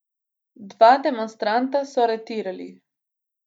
Dva demonstranta so aretirali.